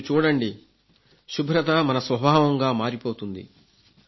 మీరు చూడండి శుభ్రత మన స్వభావంగా మారిపోతుంది